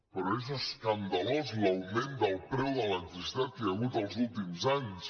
però és escandalós l’augment del preu de l’electricitat que hi ha hagut els últims anys